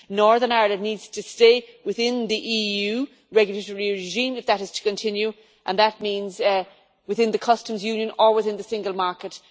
Northern Ireland needs to stay within the EU regulatory regime if that is to continue, and that means within the Customs Union or within the Single Market.